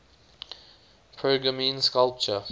pergamene sculpture